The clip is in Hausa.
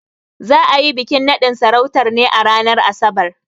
Za a yi bikin naɗin sarautar ne a ranar Asabar.